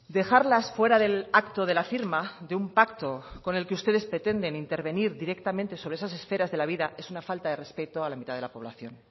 dejarlas fuera del acto de la firma de un pacto con el que ustedes pretenden intervenir directamente sobre esas esferas de la vida es una falta de respeto a la mitad de la población